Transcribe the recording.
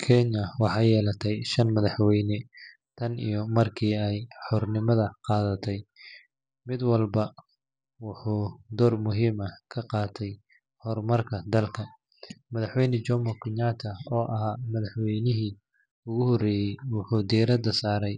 Kenya waaxe yelaatay shan madaxweyne taan iyo marki eey hornimaada qadaatay mid walbaa wuxu door muhima ah kaqaatay hor marka dalka madaxweyna Jomo Kenyatta oo aaha madaxweyni ugu horeye wuxu diraada sare